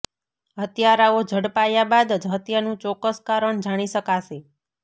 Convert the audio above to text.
હત્યારાઓ ઝડપાયા બાદ જ હત્યાનું ચોક્કસ કારણ જાણી શકાશે